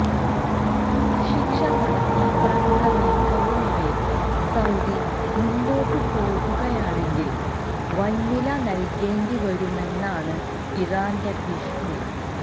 വധശിക്ഷ നടപ്പാക്കാനുള്ള നീക്കവുമായി സൌദി മുന്നോട്ടു പോവുകയാണെങ്കില് വന്വില നല്കേണ്ടിവരുമെന്നാണ് ഇറാന്റെ ഭീഷണി